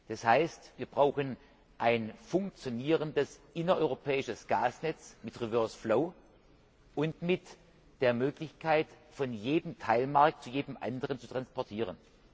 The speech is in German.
Das heißt, wir brauchen ein funktionierendes innereuropäisches Gasnetz mit reverse flow und mit der Möglichkeit, von jedem Teilmarkt zu jedem anderen zu transportieren.